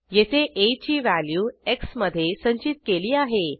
येथे आ ची व्हॅल्यू एक्स मधे संचित केली आहे